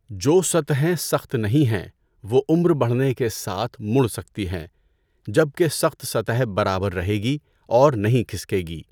جو سطحیں سخت نہیں ہیں وہ عمر بڑھنے کے ساتھ مڑ سکتی ہیں جبکہ سخت سطح برابر رہے گی اور نہیں کھسکے گی۔